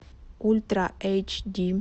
ультра эйч ди